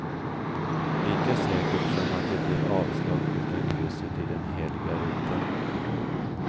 Lika säkert som att det blir avslag utan krysset i den heliga rutan.